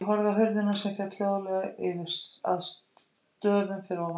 Ég horfði á hurðina sem féll hljóðlega að stöfum fyrir ofan.